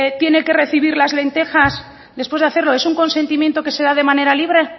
tiene que recibir las lentejas después de hacerlo es un consentimiento que se da de manera libre